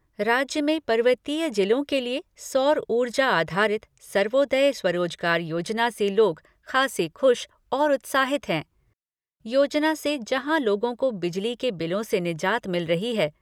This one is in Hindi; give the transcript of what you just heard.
राज्य में पर्वतीय जिलों के लिए सौर ऊर्जा आधारित सर्वोदय स्वरोजगार योजना से लोग खासे खुश और उत्साहित हैं। योजना से जहां लोगों को बिजली के बिलों से निजात मिल रही है